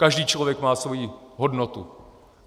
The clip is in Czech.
Každý člověk má svoji hodnotu.